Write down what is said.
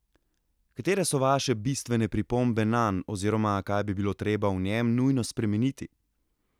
Katere so vaše bistvene pripombe nanj oziroma kaj bi bilo treba v njem nujno spremeniti?